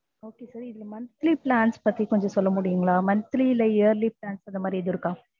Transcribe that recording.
okay sir இந்த monthly plans பத்தி கொஞ்சம் சொல்லமுடியுங்களா? monthly இல்லை yearly plans அந்த மாதிரி எதுவும் இருக்கா?